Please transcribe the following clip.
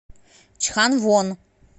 чханвон